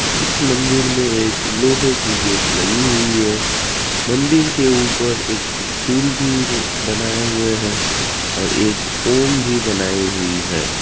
इस मंदिर मे एक लोहे की गेट लगी हुई है मंदिर के ऊपर एक त्रिशूल भी बनाऐ हुई है और एक ॐ भी बनाई हुई है।